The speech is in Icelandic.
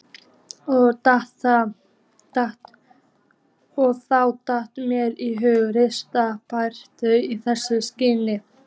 Og þá datt mér í hug ríkishappdrætti í þessu skyni.